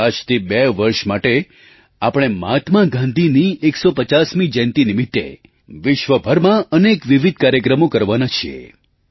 આજથી બે વર્ષ માટે આપણે મહાત્મા ગાંધીની 150મી જયંતી નિમિત્તે વિશ્વભરમાં અનેક વિવિધ કાર્યક્રમો કરવાના છીએ